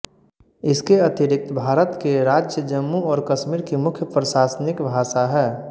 इस के अतिरिक्त भारत के राज्य जम्मू और कश्मीर की मुख्य प्रशासनिक भाषा है